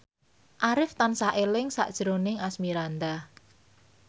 Arif tansah eling sakjroning Asmirandah